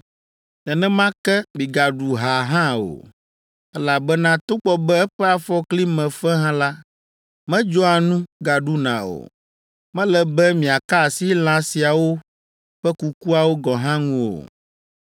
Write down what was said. Nenema ke, migaɖu ha hã o, elabena togbɔ be eƒe afɔkli me fe hã la, medzɔa nu gaɖuna o. Mele be miaka asi lã siawo ƒe kukuawo gɔ̃ hã ŋu o.